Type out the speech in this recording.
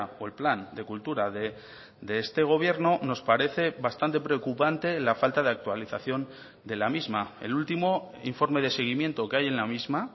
o el plan de cultura de este gobierno nos parece bastante preocupante la falta de actualización de la misma el último informe de seguimiento que hay en la misma